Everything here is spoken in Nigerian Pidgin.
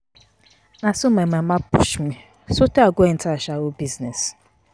Na so my mama push me so tey I go enter ashawo business.